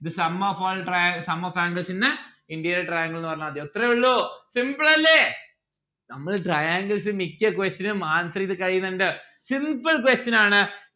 the sum of all tria the sum of all angles in a interior trinagle ന്ന്‌ പറഞ്ഞാൽ മതി അത്രേ ഉള്ളൂ simple അല്ലെ നമ്മൾ triangles മിക്ക്യ question ഉം answer എയ്ത കഴിയിന്നിണ്ട്‌ simple question ആണ്